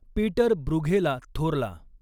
Peter ब्रूघेला थोरला